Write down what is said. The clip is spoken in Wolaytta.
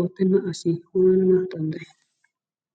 ottenna assi wananawu danadayyi.